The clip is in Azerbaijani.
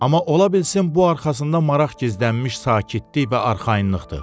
Amma ola bilsin bu arxasında maraq gizlənmiş sakitlik və arxayınlıqdır.